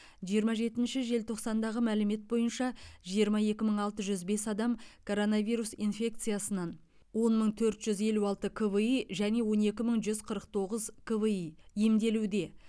жиырма жетінші желтоқсандағы мәлімет бойынша жиырма екі мың алты жүз бес адам короновирус инфекциясынан он мың төрт жүз елу алты кви және он екі мың жүз қырық тоғыз кви емделуде